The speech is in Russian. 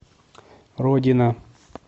родина